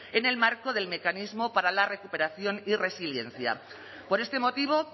en el marco del mecanismo para la recuperación y resiliencia por este motivo